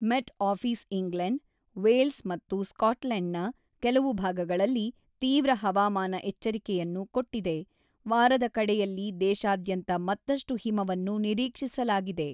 ಮೆಟ್ Office England, Wales ಮತ್ತು ಸ್ಕಾಟ್ಲೆಂಡ್‌ನ ಕೆಲವು ಭಾಗಗಳಲ್ಲಿ ತೀವ್ರ ಹವಾಮಾನ ಎಚ್ಚರಿಕೆಯನ್ನು ಕೊಟ್ಟಿದೆ, ವಾರದ ಕಡೆಯಲ್ಲಿ ದೇಶಾದ್ಯಂತ ಮತ್ತಷ್ಟು ಹಿಮವನ್ನು ನಿರೀಕ್ಷಿಸಲಾಗಿದೆ.